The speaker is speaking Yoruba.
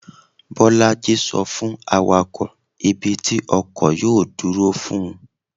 bolájí so fun awakọ, ibi tí ọkọ yọọ duro fún